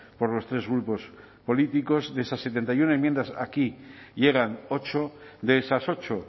por los tres grupos políticos de esas setenta y uno enmiendas aquí llegan ocho de esas ocho